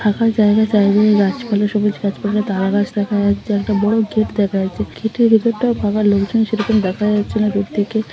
ফাঁকা জায়গায় জায়গায় গাছপালা সবুজ গাছপালা তারা গাছ দেখা যাচ্ছে একটা বড় গেট দেখা যাচ্ছে। গেটের ওপারটা ফাকা লাগছে সেরকম দেখা যাচ্ছে না দূর থেকে।